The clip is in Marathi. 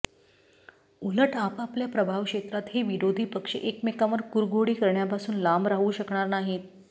उलट आपआपल्या प्रभाव क्षेत्रात हे विरोधी पक्ष एकमेकांवर कुरघोडी करण्यापासून लांब राहू शकणार नाहीत